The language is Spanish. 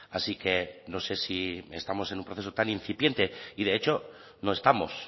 así que no sé si estamos en un proceso tan incipiente y de hecho no estamos